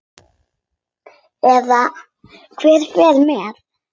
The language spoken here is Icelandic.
Eða hver fer með.